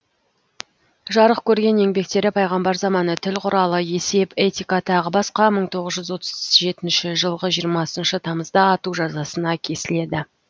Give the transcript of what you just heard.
жарық көрген еңбектері пайғамбар заманы тіл қүралы есеп этика тағы басқа мың тоғыз жүз отыз жетінші жылғы жиырмасыншы тамызда ату жазасына кесіледі